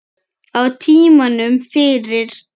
Á tímanum fyrir